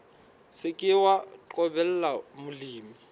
se ke wa qobella molemi